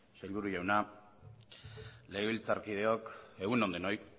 sailburu jauna legebiltzarkideok egun on denoi